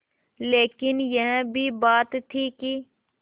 लेकिन यह भी बात थी कि